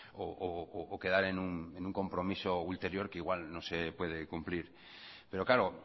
o quedar en un compromiso ulterior que igual no se puede cumplir pero claro